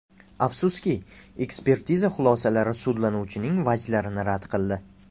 Afsuski, ekspertiza xulosasi sudlanuvchining vajlarini rad qildi.